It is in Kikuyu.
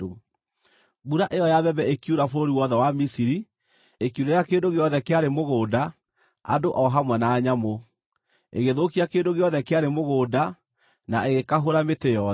Mbura ĩyo ya mbembe ĩkiura bũrũri wothe wa Misiri, ĩkiurĩra kĩndũ gĩothe kĩarĩ mũgũnda, andũ o hamwe na nyamũ; ĩgĩthũkia kĩndũ gĩothe kĩarĩ mũgũnda na ĩgĩkahũra mĩtĩ yothe.